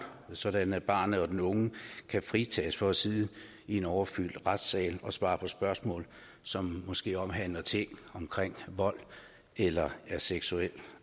sådan at barnet og den unge kan fritages for at sidde i en overfyldt retssal og svare på spørgsmål som måske omhandler ting som vold eller er af seksuel